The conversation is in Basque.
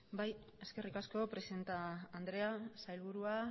bai eskerrik asko presidente andrea sailburua